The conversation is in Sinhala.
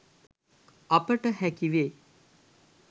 අපට හැකිවේ